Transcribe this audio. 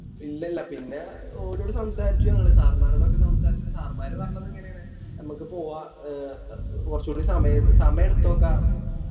ഇല്ലല്ലാ പിന്നെ ഓലോട് സംസാരിച്ചു ഞങ്ങള് Sir മ്മാരോടൊക്കെ സംസാരിച്ചിട്ട് Sir മ്മാര് പറഞ്ഞത് ഇങ്ങനേണ് മ്മക്ക് പോവാ അഹ് കൊറച്ചൂടി സമയം സാമയെടുത്തൊക്കെ പറഞ്ഞു